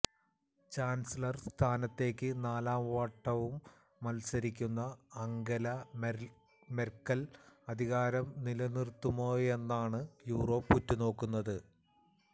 chancellor സ്ഥാനത്തേക്കു നാലാം വട്ടവും മല്സരിക്കുന്ന അംഗല മെര്ക്കല് അധികാരം നിലനിര്ത്തുമോയെന്നാണു യൂറോപ്പ് ഉറ്റു നോക്കുന്നത്